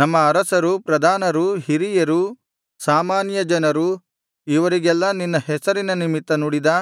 ನಮ್ಮ ಅರಸರು ಪ್ರಧಾನರು ಹಿರಿಯರು ಸಾಮಾನ್ಯ ಜನರು ಇವರಿಗೆಲ್ಲ ನಿನ್ನ ಹೆಸರಿನ ನಿಮಿತ್ತ ನುಡಿದ